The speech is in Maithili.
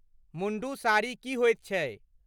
मुण्डु साड़ी की होइत छै?